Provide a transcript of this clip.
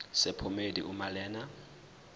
sephomedi uma lena